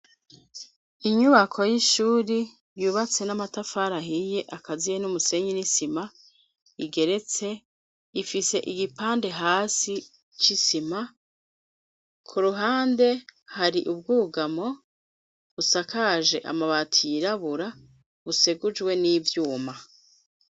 Inyubako y'ishuri yubatse n'amatafari ahiye akaziye n'umusenyi n'isima igeretse ifise igipande hasi c'isima ku ruhande hari ubwugamo busakaje amabati y'irabura busegujwe n'ivyuma.